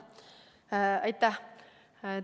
Aitäh!